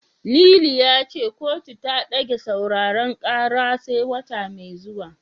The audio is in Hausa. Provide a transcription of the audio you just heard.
Lili ya ce kotu ta ɗage sauraren karar sai wata mai zuwa.